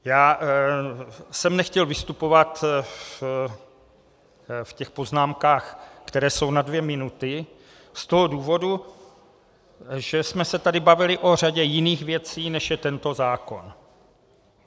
Já jsem nechtěl vystupovat v těch poznámkách, které jsou na dvě minuty, z toho důvodu, že jsme se tady bavili o řadě jiných věcí, než je tento zákon.